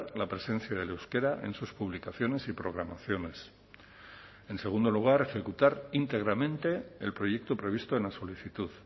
la presencia del euskera en sus publicaciones y programaciones en segundo lugar ejecutar íntegramente el proyecto previsto en la solicitud